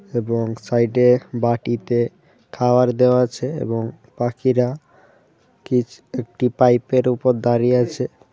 এবং সাইড -এ বাটিতে খাওয়ার দেওয়া আছে এবং পাখিরা কিছ-একটি পাইপ -এর উপর দাঁড়িয়ে আছে।